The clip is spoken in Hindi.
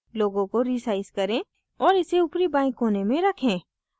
logo को resize करें और इसे ऊपरी बाएं कोने में रखें